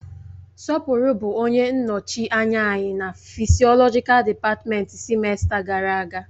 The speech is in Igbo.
Sopuru bụ onye nnọchi anya anyị na fịsiolọji dịpatmenti sịmesta gara aga.